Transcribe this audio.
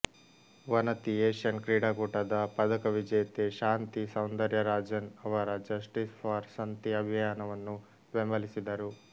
ವನತಿ Asian ಕ್ರೀಡಾಕೂಟದ ಪದಕ ವಿಜೇತೆ ಶಾಂತಿ ಸೌಂದರ್ಯರಾಜನ್ ಅವರ ಜಸ್ಟೀಸ್ ಫಾರ್ ಸಂತಿ ಅಭಿಯಾನವನ್ನು ಬೆಂಬಲಿಸಿದರು